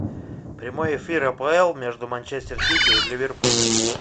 прямой эфир апл между манчестер сити и ливерпулем